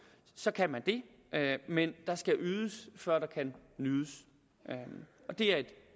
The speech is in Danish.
så kan man det men der skal ydes før der kan nydes og det er et